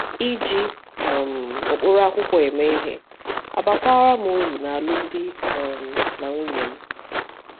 Iji um ụkpụrụ akwụkwọ eme ihe abakwara m uru n’alụmdi um na nwunye m.